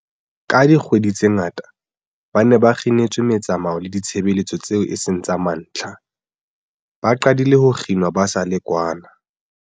Ka dikgwedi tse ngata, ba ne ba kginetswe metsamao le ditshebeletso tseo e seng tsa mantlha, ba qadile ho kginwa ba sa le kwana